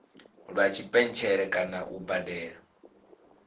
lwa tshipentshele kana u badela